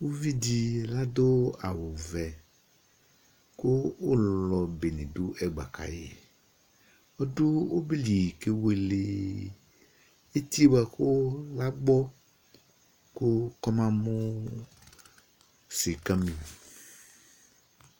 Uvidi adʋ awʋvɛ, kʋ ʋlɔ bedɩ dʋ ɛgba ka yɩ Ɔdʋ ɔbɛ li kewele etie bʋa kʋ agbɔ kʋ k'ɔma mʋ sɩka